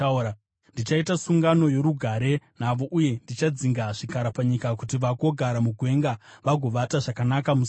“ ‘Ndichaita sungano yorugare navo uye ndichadzinga zvikara panyika kuti vagogara mugwenga vagovata zvakanaka musango.